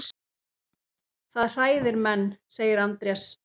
Helgi Seljan.